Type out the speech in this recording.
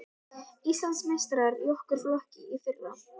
Íslandsmeistarar í okkar flokki í fyrra.